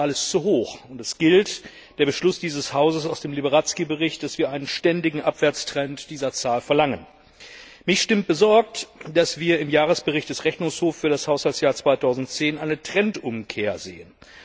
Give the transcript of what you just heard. Diese Zahl ist zu hoch, und es gilt der Beschluss dieses Hauses aus dem Liberadzki Bericht, dass wir einen ständigen Abwärtstrend dieser Zahl verlangen. Mich stimmt besorgt, dass wir im Jahresbericht des Rechnungshofs für das Haushaltsjahr 2010 eine Trendumkehr sehen.